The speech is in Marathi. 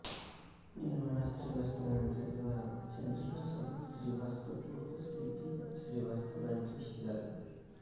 निर्मला श्रीवास्तव यांचा विवाह चंद्रिकाप्रसाद श्रीवास्तव उर्फ सी पी श्रीवास्तव यांच्याशी झाला